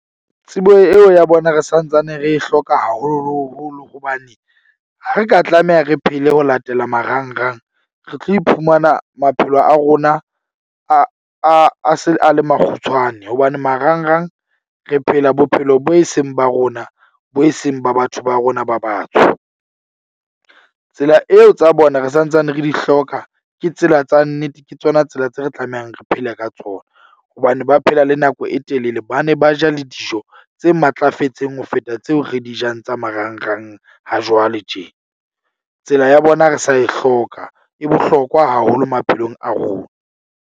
Tsebo eo ya bona re santsane re e hloka, haholoholo hobane ha re ka tlameha re phele ho latela marangrang re tlo iphumana maphelo a rona a a se a makgutshwane. Hobane marang rang re phela bophelo bo e seng ba rona. Bo e seng ba batho ba rona ba batsho. Tsela eo tsa bona re santsane re di hloka ke tsela tsa nnete, ke tsona tsela tse re tlamehang re phele ka tsona. Hobane ba phela le nako e telele. Ba ne ba ja le dijo tse matlafetseng ho feta tseo re di jang tsa marang rang hajwale tje. Tsela ya bona re sa e hloka e bohlokwa haholo maphelong a rona.